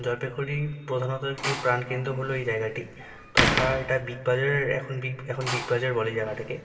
জলপাইগুড়ি প্রধানত একটি প্রাণকেন্দ্র হলো এই জায়গাটি তথা এটা বিগ বাজারে এখন বিগ বাজার বলে জায়গাটাকে।